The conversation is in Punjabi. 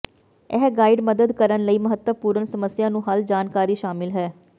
ਇਹ ਗਾਈਡ ਮਦਦ ਕਰਨ ਲਈ ਮਹੱਤਵਪੂਰਨ ਸਮੱਸਿਆ ਨੂੰ ਹੱਲ ਜਾਣਕਾਰੀ ਸ਼ਾਮਿਲ ਹੈ